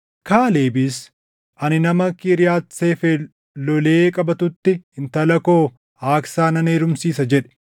Kaalebis, “Ani nama Kiriyaati Seefer lolee qabatutti intala koo Aaksaa nan heerumsiisa” jedhe.